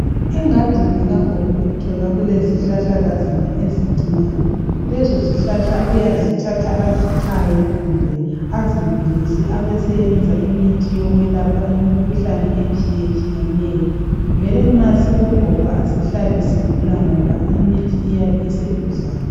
Engadini kagogo uthola kulezihlahlakazana ezincinyane lezo zihlahla uyazithatha azichaye kumbe azibilise abeseyenza imithi yokwelapha imikhuhlane etshiyetshiyeneyo, vele nxa sikogogo asihlali sigula ngoba imithi iyabiseduzane.